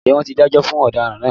Ǹjẹ́ wọ́n ti dájọ́ fún ọ̀daràn náà